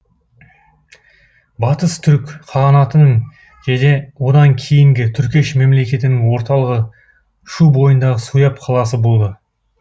батыс түрік қағанатының және одан кейінгі түргеш мемлекетінің орталығы шу бойындағы суяб қаласы болды